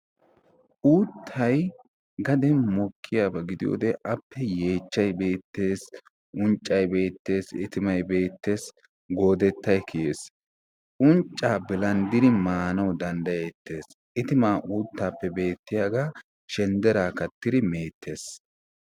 uuttay gaden mokiyaaba giidiyoode appe yeechchay beettees, unccay beettees, itimaay bettees, goodettay kiyees. unccaa bilandiri maanawu danddayeetees. itimaa uuttappebettiyaagaa shenderaa kaattidi meettees.